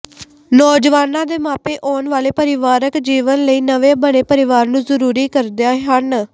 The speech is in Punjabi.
ਨੌਜਵਾਨਾਂ ਦੇ ਮਾਪੇ ਆਉਣ ਵਾਲੇ ਪਰਿਵਾਰਕ ਜੀਵਣ ਲਈ ਨਵੇਂ ਬਣੇ ਪਰਿਵਾਰ ਨੂੰ ਜਰੂਰੀ ਕਰਦੇ ਹਨ